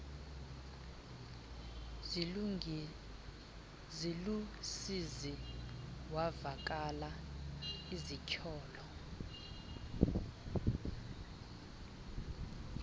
zilusizi wavakala esitsholo